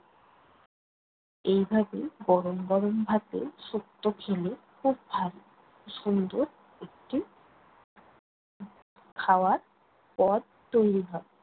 এইভাবে গরম গরম ভাতে শুক্তো খেলে খুব ভালো, সুন্দর একটি খাওয়ার পথ তৈরি হয়।